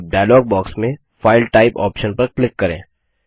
अब dialogue box में file type option पर क्लिक करें